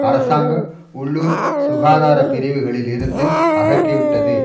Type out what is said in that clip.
அரசாங்க உள்ளூர் சுகாதார பிரிவுகளில் இருந்து அகற்றி விட்டது